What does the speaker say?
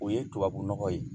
O ye tubabu nɔgɔ ye